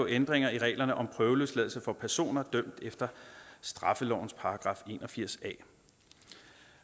ændringer i reglerne om prøveløsladelse for personer dømt efter straffelovens § en og firs